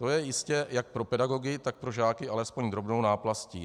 To je jistě jak pro pedagogy, tak pro žáky alespoň drobnou náplastí.